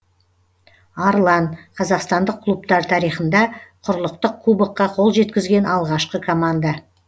арлан қазақстандық клубтар тарихында құрлықтық кубокқа қол жеткізген алғашқы команда